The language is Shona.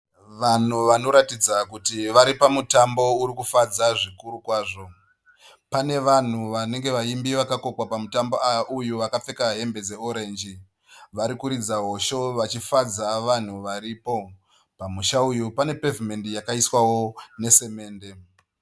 Vanhu vanoratidza kuti vari pamutambo urikufadza zvikuru kwazvo. Pane vanhu vanenge vaimbi vakakokwa pamutambo uyu vakapfeka hembe dzeorenji. Varikuridza hosho vachifadza vanhu varipo. Pamusha uyu pane pevhimendi yakaiswawo nesemende.